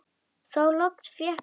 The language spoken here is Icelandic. Þá loks fékk Jóra málið.